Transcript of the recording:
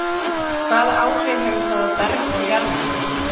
Hvaða áhrif hefur það á berg og jarðlög?